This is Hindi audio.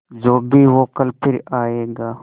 जो भी हो कल फिर आएगा